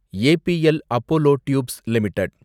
APL Apollo tubes limited